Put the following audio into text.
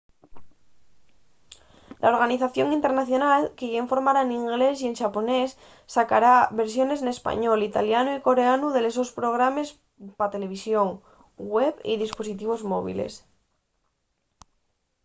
la organización internacional que yá informa n'inglés y xaponés sacará versiones n'español italianu y coreanu de los sos programes pa televisón web y dispositivos móviles